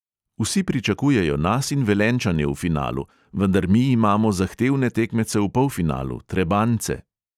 Vsi pričakujejo nas in velenjčane v finalu, vendar mi imamo zahtevne tekmece v polfinalu, trebanjce.